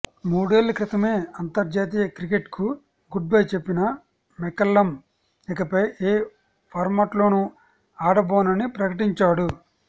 మూడేళ్ల క్రితమే అంతర్జాతీయ క్రికెట్కు గుడ్బై చెప్పిన మెకల్లమ్ ఇకపై ఏ ఫార్మాట్లోనూ ఆడబోనని ప్రకటించాడు